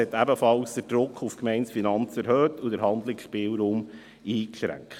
Das hat den Druck auf die Gemeindefinanzen erhöht und den Handlungsspielraum eingeschränkt.